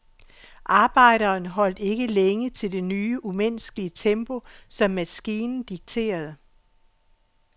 Arbejderen holdt ikke længe til det nye, umenneskelige tempo, som maskinen dikterede.